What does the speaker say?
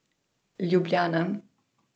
Ljubljana.